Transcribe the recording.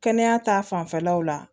Kɛnɛya ta fanfɛlaw la